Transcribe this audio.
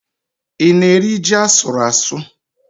Ị na-eri ji asụrụ asụ?